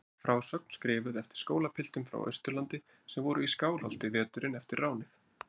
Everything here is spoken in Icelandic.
Stutt frásögn skrifuð eftir skólapiltum frá Austurlandi sem voru í Skálholti veturinn eftir ránið.